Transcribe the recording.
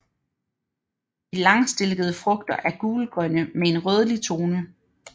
De langstilkede frugter er gulgrønne med en rødlig tone